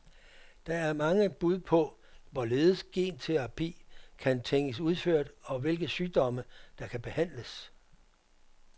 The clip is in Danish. Der er mange bud på, hvorledes genterapi kan tænkes udført og hvilke sygdomme, der kan behandles.